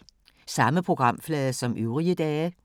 Samme programflade som øvrige dage